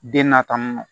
Den na tantɔ